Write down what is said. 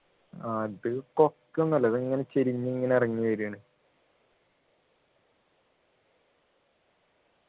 അത് കൊക്കയൊന്നും അല്ല ഇതിങ്ങനെ ചരിഞ്ഞു ഇങ്ങനെ ഇറങ്ങി വരുവാണ്‌